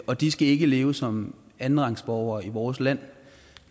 og de skal ikke leve som andenrangsborgere i vores land